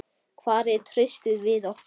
Hvar er traustið við okkur?